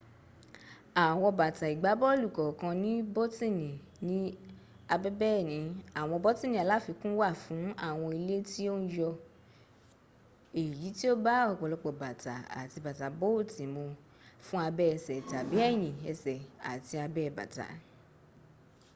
awon bata igbabolu kookan ni botini ni abebeeni awon botini alafikun wa fun awon ile ti o n yo eyi ti o ba opolopo bata ati bata booti mu fun abe ese tabi eyin ese ati abe bata